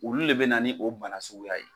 Olu le bɛ na ni o bana suguya ye.